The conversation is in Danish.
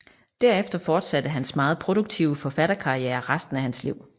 Derefter fortsatte hans meget produktive forfatterkarriere resten af hans liv